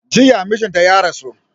Jiya mijinta ya rasu